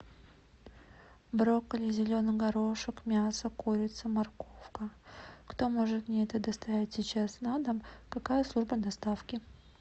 брокколи зеленый горошек мясо курица морковка кто может мне это доставить сейчас на дом какая служба доставки